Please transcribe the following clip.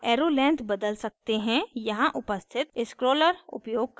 आप arrow length बदल सकते हैं यहाँ उपस्थित scroller उपयोग करके